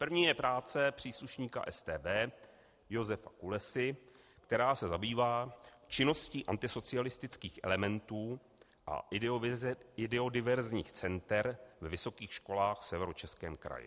První je práce příslušníka StB Josefa Kulesy, která se zabývá činností antisocialistických elementů a ideodiverzních center na vysokých školách v Severočeském kraji.